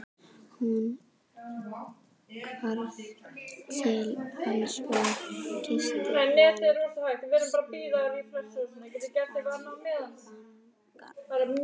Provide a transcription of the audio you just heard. Hún hvarf til hans og kyssti hann snöggt á vangann.